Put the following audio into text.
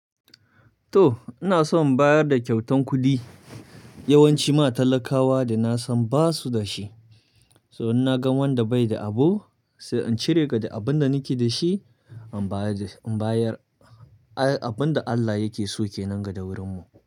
To ina so in bayar da kyautan kuɗi yawanci ma talakawa da na san ba su da shi. So in na gan wanda bai da abu sai in cire daga abin da nake da shi, in bayar abin da Allah yake so ke nan gada wurinmu.